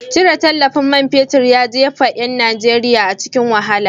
Cire tallafin man fetir ya jefa yan Najeriya a cikin wahala.